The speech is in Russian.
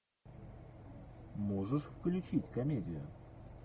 можешь включить комедию